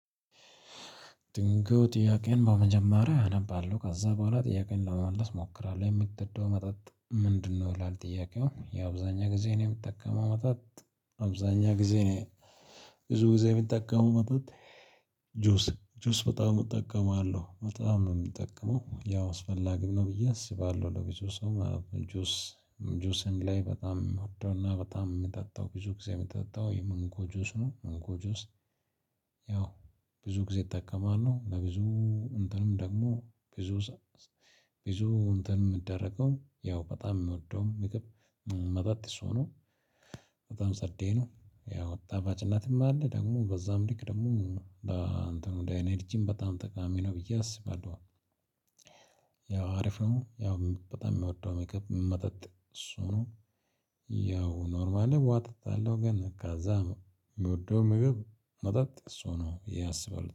ድንገት ጥያቄን በመጀመሪያ አነባለሁ ከዛ በኋላ ጥያቄየን ለመመለስ እሞክራለሁ የምትወደው መጠጥ ምንድነው? ይላል ጥያቄው የአብዛኛ ጊዜ ነው የምጠቀመው መጣት አብዛኛ ጊዜ እኔ ብዙ ጊዜ የሚጠቀመው መጠጥ። ጁስ ጁስ በጣም እጠቀማለሁ በጣም ነው የሚጠቀመው ያው አስፈላጊም ነው ብዬ አስባለሁ ለብዙ ሰው ጁስ ጁስ ላይ በጣም ምወደውና በጣም የምጠጣው ብዙ ጊዜ የምጠጣው የማንጎ ጁስ ነው የማንጎ ጁስ። ያው ብዙ ጊዜ እጠቀማለሁ በብዙ መንገድም ደግሞ ብዙ ሰው ብዙ እንትን ሚደረገው ያው በጣም የምወደው ምግብ መጠጥ እሱ ነው። በጣም ጸዴ ነው ያው ጣፋጭነትም አለ ደግሞ በዛም ልክ ደግሞ እንትን ወደ ኢነርጂም በጣም ጠቃሚ ነው ብዬ አስባለሁ። ያው አሪፍ ነው ያው በጣም ምወደው ምግብ መጠጥ እሱ ነው። ያው ኖርማል ላይ ውሃ እጠጣለሁ ግን ካዛ ምወደው ምግብ መጠጥ እሱ ነው ብዬ አስባለሁ